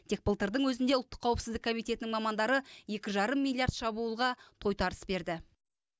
тек былтырдың өзінде ұлттық қауіпсіздік комитетінің мамандары екі жарым миллиард шабуылға тойтарыс берді